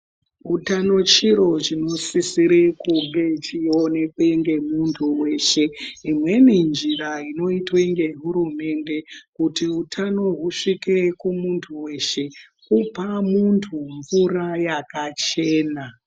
Utano chirichiro chinosisire kunge chionekwe nemuntu weshe imwe njira inoitwe nge hurumende kuti utano huzvike kumuntu weshe kupa muntu mvura yakachena.